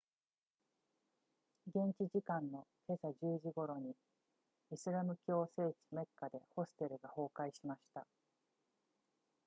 現地時間の今朝10時頃にイスラム教の聖地メッカでホステルが崩壊しました